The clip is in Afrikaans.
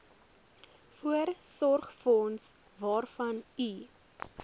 voorsorgsfonds waarvan u